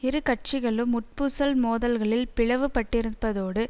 இரு கட்சிகளும் உட்பூசல் மோதல்களில் பிளவுபட்டிருப்பதோடு